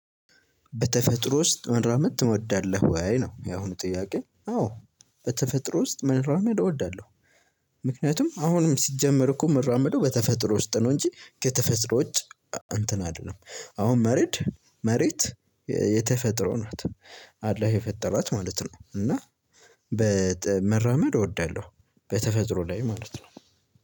በተፈጥሮ ውስጥ መራመድ ትወዳለህ ወይ ነው ያሁኑ ጥያቄ? አዎ በተፈጥሮ ውስጥ መራመድ እወዳለሁ። ምክንያቱም አሁንም ሲጀመር እኮ ምራመደው በተፈጥሮ ውስጥ ነው እንጂ ከተፈጥሮ ውጭ እንትን አይደለም። አሁን መሬት መሬት የተፈጥሮ ናት አላህ የፈጠራት ማለት ነው። እና በመራመድ እወዳለሁ በተፈጥሮ ላይ ማለት ነው።